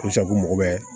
mago bɛ